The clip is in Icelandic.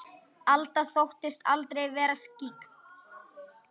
Alda þóttist aldrei vera skyggn.